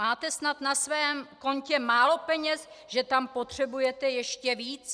Máte snad na svém kontě málo peněz, že tam potřebujete ještě víc?